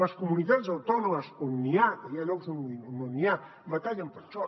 les comunitats autònomes on n’hi ha que hi ha llocs on no n’hi ha batallen per això